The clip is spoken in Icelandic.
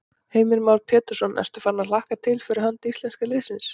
Heimir Már Pétursson: Ertu farin að hlakka til fyrir hönd íslenska liðsins?